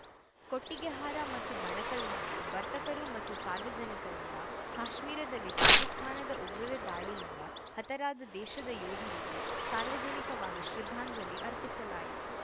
ಕೊಟ್ಟಿಗೆಹಾರ ಮತ್ತು ಬಣಕಲ್‌ನಲ್ಲಿ ವರ್ತಕರು ಮತ್ತು ಸಾರ್ವಜನಿಕರಿಂದ ಕಾಶ್ಮೀರದಲ್ಲಿ ಪಾಕಿಸ್ತಾನದ ಉಗ್ರರ ದಾಳಿಯಿಂದ ಹತರಾದ ದೇಶದ ಯೋಧರಿಗೆ ಸಾರ್ವಜನಿಕವಾಗಿ ಶ್ರದ್ಧಾಂಜಲಿ ಅರ್ಪಿಸಲಾಯಿತು